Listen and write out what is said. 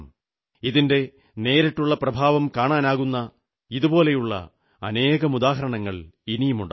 ഇതിന്റെ നേരിട്ടുള്ള പ്രഭാവം കാണാനാകുന്ന ഇതുപോലുള്ള അനേകം ഉദാഹരണങ്ങൾ ഉണ്ടാകും